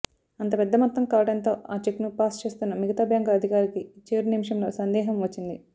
అంత పెద్ద మొత్తం కావడంతో ఆ చెక్ను పాస్ చేస్తున్న మిగతా బ్యాంకు అధికారికి చివరి నిమిషంలో సందేహం వచ్చింది